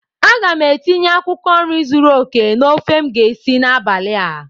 A ga m etinye akwụkwọ nri zuru oke na ofe m ga-esi n'abalị a